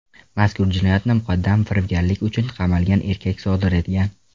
Mazkur jinoyatni muqaddam firibgarlik uchun qamalgan erkak sodir etgan.